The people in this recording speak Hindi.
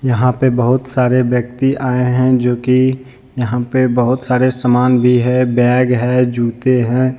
यहां पे बहुत सारे व्यक्ति आए हैं जोकि यहां पे बहुत सारे सामान भी है बैग है जुते हैं।